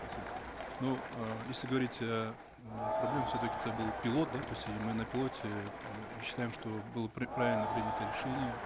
спасибо ну эээ если говорить э проблемы все таки это был пилот да то есть и мы на пилоте э и считаем что было правильно принято решение